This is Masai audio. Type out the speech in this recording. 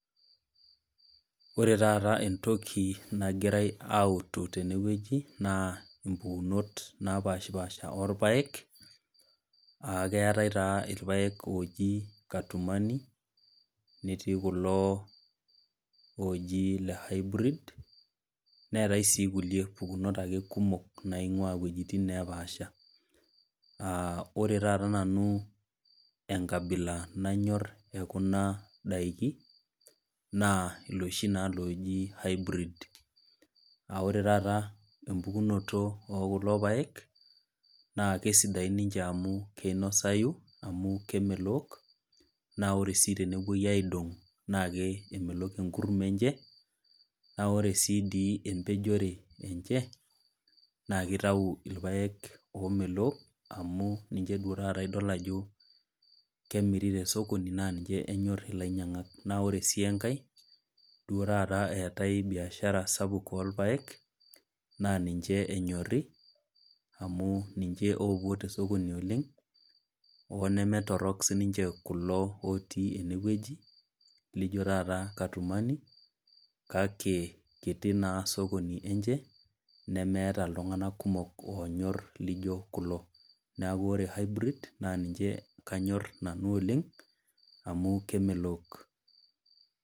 Ore taata entoki nagirai autu teewueji, naa impukunot oolpaek, aa keatai naa ilpaek ooji Katumani netii kulo ooji ile Hybrid, neatai naa ake kulie pukunot kumok naing'ua iwuetin napaasha, aa ore taata nanu enkabila nayor e kuna daiki naa inooshi naaji Hybrid, naa ore taata empukunoto e kulo paek, naa kesidain ninche amu keinosayu amu kemelook, naa ore sii tenewuoi aidong' naa kemelok enkurma enye, naa ore sii dei empejore enye, naa keitayu ilpaek oomelook amu ninche naa duo idol ajo kemiri te sokoni naa ninche epuooi ainyang. Naa ore sii enkai duo taata eatai biashara sapuk oolpaek, naa ninche enyori, amu ninche oopuote sokoni oleng', oo nemeetorok siininche kulo lotiiene wueji, naijo taata katumani, kake kiti naa sokoni enye nemeata iltung'ana kumok oonyor ilpaek oijo kulo. Neaku ore Hybrid naa ninche kanyor nanu oleng' amu kemelook.